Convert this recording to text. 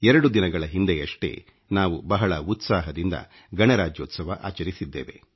2 ದಿನಗಳ ಹಿಂದೆಯಷ್ಟೇ ನಾವು ಬಹಳ ಉತ್ಸಾಹದಿಂದ ಗಣರಾಜ್ಯೋತ್ಸವ ಆಚರಿಸಿದ್ದೇವೆ